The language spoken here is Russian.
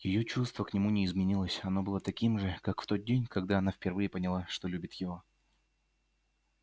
её чувство к нему не изменилось оно было таким же как в тот день когда она впервые поняла что любит его